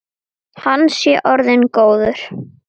Hann sé orðinn góður.